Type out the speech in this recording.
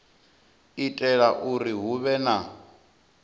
itela uri hu vhe na